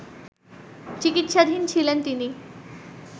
চিকিৎসাধীন ছিলেন তিনি